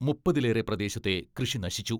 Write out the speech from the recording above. മുപ്പതിലേറെ പ്രദേശത്തെ കൃഷി നശിച്ചു.